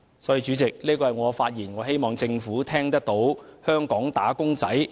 主席，我謹此陳辭，希望政府聆聽香港"打工仔"的心聲。